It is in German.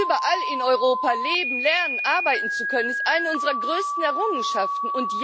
Überall in Europa leben, lernen, arbeiten zu können, ist eine unserer größten Errungenschaften.